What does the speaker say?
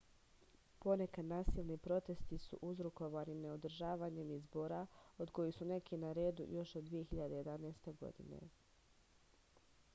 ponekad nasilni protesti su uzrokovani neodržavanjem izbora od kojih su neki na redu još od 2011. godine